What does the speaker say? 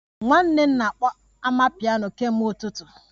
Nwanne m na-akpọ amapiano kemgbe ụtụtụ